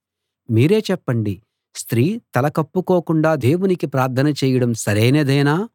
మీరే చెప్పండి స్త్రీ తల కప్పుకోకుండా దేవునికి ప్రార్థన చేయడం సరైనదేనా